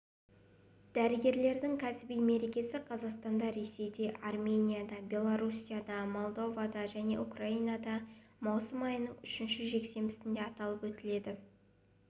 дәрігерлердің кәсіби мерекесі қазақстанда ресейде арменияда белоруссияда молдовада және украинада маусым айының үшінші жексенбісінде аталып өтіледі